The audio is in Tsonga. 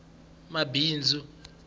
mabindzu